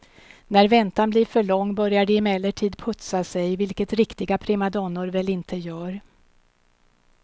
När väntan blir för lång börjar de emellertid putsa sig, vilket riktiga primadonnor väl inte gör.